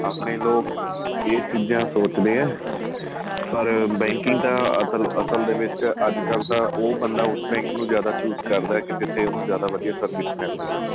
ਆਪਣੇਂ ਲੋਕ ਏਹ ਚੀਜ਼ਾਂ ਸੋਚਦੇ ਏ ਪਰ banking ਤਾਂ ਅਸਲ ਦੇ ਵਿੱਚ ਤਾਂ ਅੱਜ ਕੱਲ ਤਾਂ ਉਹ ਬੰਦਾ ਉਸ bank ਨੂੰ chose ਕਰਦਾ ਕੀ ਜਿਥੇ ਉਹਨੂੰ ਜਿਆਦਾ ਵਧੀਆਂ service ਮਿਲਦੀ ਆਂ